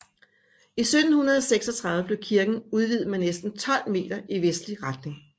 I 1736 blev kirken udvidet med næsten tolv meter i vestlig retning